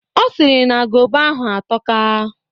Ọ sịrị na gova ahụ atoka.